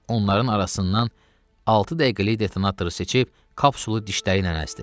Onların arasından altı dəqiqəlik detonatoru seçib kapsulu dişləri ilə əzdi.